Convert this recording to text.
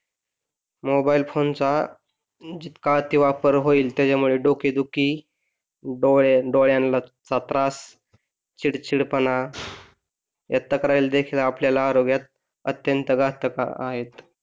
Mobile phone चा जितका अति वापर होईल त्याच्या यामध्ये डोकेदुखी, डोळे डोळ्याचा त्रास, चिडचिडेपणा तक्रारी देखील आपल्याला आरोग्यास अत्यंत घातक आहेत.